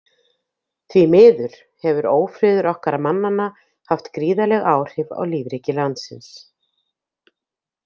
Því miður hefur ófriður okkar mannanna haft gríðarleg áhrif á lífríki landsins.